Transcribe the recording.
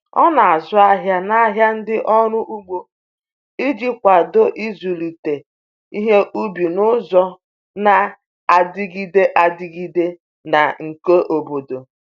O na-azụ ahịa n’ahịa ndị ọrụ ugbo iji kwado ịzụlite ihe ubi n’ụzọ na-adịgide adịgide na nke obodo.